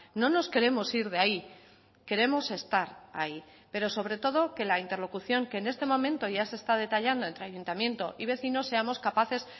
no nos queremos ir de ahí queremos estar ahí pero sobre todo que la interlocución que en este momento ya se está detallando entre ayuntamiento y vecinos seamos capaces